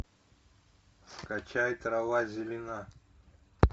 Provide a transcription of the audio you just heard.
скачай трава зелена